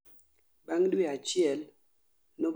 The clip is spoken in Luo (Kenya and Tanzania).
Bang' dwe achiel nogochone chwore ka pod en in owadgi